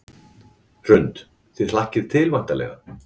Hrund: Þið hlakkið til væntanlega?